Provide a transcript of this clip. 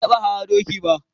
Ban taɓa hawa doki ba.